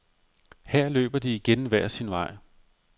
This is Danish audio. Her løber de igen hver sin vej.